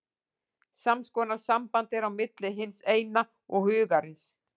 Sams konar samband er á milli hins Eina og Hugarins.